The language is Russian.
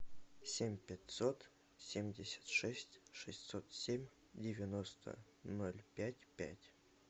семь пятьсот семьдесят шесть шестьсот семь девяносто ноль пять пять